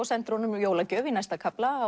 sendir honum jólagjöf í næsta kafla